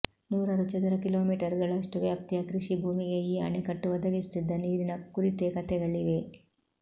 ನೂರಾರು ಚದರ ಕಿಲೋಮೀಟರ್ಗಳಷ್ಟು ವ್ಯಾಪ್ತಿಯ ಕೃಷಿ ಭೂಮಿಗೆ ಈ ಅಣೆಕಟ್ಟು ಒದಗಿಸುತ್ತಿದ್ದ ನೀರಿನ ಕುರಿತೇ ಕಥೆಗಳಿವೆ